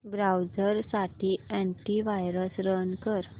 browser साठी antivirus run कर